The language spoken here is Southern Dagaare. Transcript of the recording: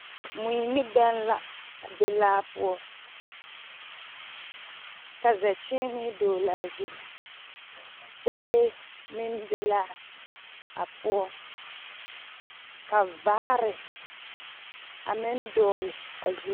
Mui ni bԑŋ la a be laa poͻ, ka zԑkyeenee dogele a zu. Gyԑlee meŋ be laa a poͻ, ka vaare a meŋ dogele a zu.